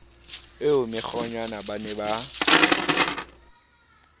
eo mokgwenyana ba ne ba